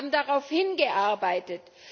Wir haben darauf hingearbeitet!